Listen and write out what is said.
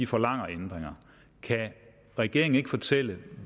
forlanger ændringer kan regeringen ikke fortælle